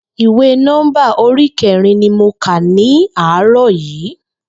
Ìwé Nó̩ḿbà orí ké̩rin ni mo kà ní àárò̩ yìí